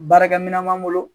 Baarakɛminɛn b'an bolo